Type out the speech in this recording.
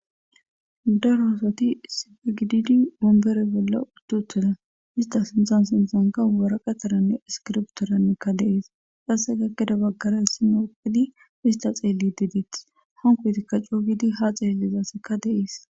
Dara aosati sifigididi wombere bolla uttuteda ista sinzan sinxanka waraqataranne iskirbtoranekka deees xasse gakkeda baggaray sinoo opedi ista xeeli didieth honkotikka cooygidi ha xeellizasseka deees.